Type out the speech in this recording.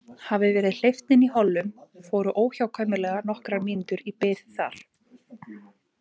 Hafi verið hleypt inn í hollum, fóru óhjákvæmilega nokkrar mínútur í bið þar.